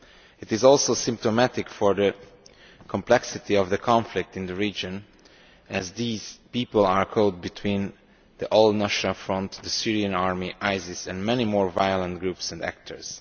It is also symptomatic of the complexity of the conflict in the region, as these people are caught between the al Nusra front, the Syrian army, ISIS and many more violent groups and actors.